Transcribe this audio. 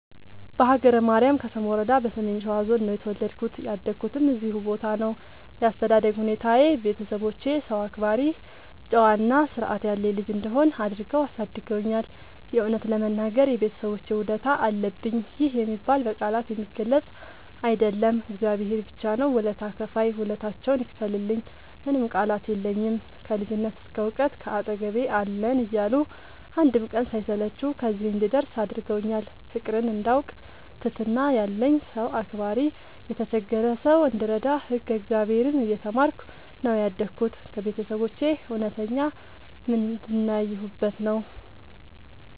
በሀገረ ማርያም ከሰም ወረዳ በሰሜን ሸዋ ዞን ነው የተወለድኩት ያደኩትም እዚሁ ቦታ ነው። ያስተዳደግ ሁኔታዬ ቤተሰቦቼ ሰው አክባሪ ጨዋ እና ስርዐት ያለኝ ልጅ እንድሆን አድርገው አሳድገውኛል። የእውነት ለመናገር የቤተሰቦቼ ውለታ አለብኝ ይህ የሚባል በቃላት የሚገለፅ አይደለም እግዚአብሔር ብቻ ነው ውለታ ከፍይ ውለታቸውን ይክፈልልኝ ምንም ቃላት የለኝም። ከልጅነት እስከ ዕውቀት ካጠገቤ አለን እያሉ አንድም ቀን ሳይሰለቹ ከዚህ እንድደርስ አድርገውኛል። ፍቅርን እንዳውቅ ትህትና ያለኝ ሰው አክባሪ የተቸገረ ሰው እንድረዳ ህግ እግዚአብሔርን እየተማርኩ ነው ያደግሁት ከቤተሰቦቼ እውነተኛ ምንድን ያየሁበት ነው።